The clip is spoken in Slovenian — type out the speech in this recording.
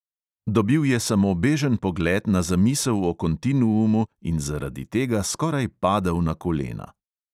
Dobil je samo bežen pogled na zamisel o kontinuumu in zaradi tega skoraj padel na kolena.